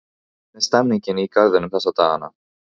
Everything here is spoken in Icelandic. Hvernig er stemmningin í Garðinum þessa dagana?